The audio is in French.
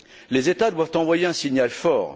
Les États doivent envoyer un signal fort.